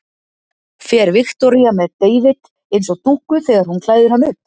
Fer Viktoría með David eins og dúkku þegar hún klæðir hann upp?